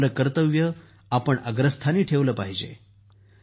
आपले कर्तव्य आपण अग्रस्थानी ठेवले पाहिजे